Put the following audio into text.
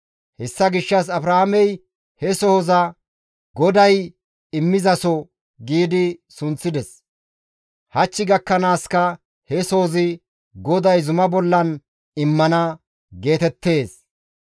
Hessa gishshas Abrahaamey he sohoza, «GODAY immizaso» gi sunththides; hach gakkanaaska he sohozi, «GODAY zuma bollan immana» geetettees.